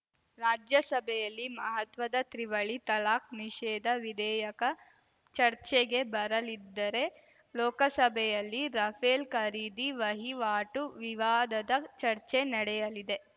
ರಾಜ್ಯಸಭೆಯಲ್ಲಿ ಮಹತ್ವದ ತ್ರಿವಳಿ ತಲಾಖ್‌ ನಿಷೇಧ ವಿಧೇಯಕ ಚರ್ಚೆಗೆ ಬರಲಿದ್ದರೆ ಲೋಕಸಭೆಯಲ್ಲಿ ರಫೇಲ್‌ ಖರೀದಿ ವಹಿವಾಟು ವಿವಾದದ ಚರ್ಚೆ ನಡೆಯಲಿದೆ